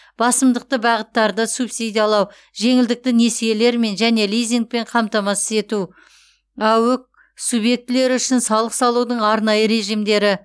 басымдықты бағыттарды субсидиялау жеңілдікті несиелермен және лизингпен қамтамасыз ету аөк субъектілері үшін салық салудың арнайы режимдері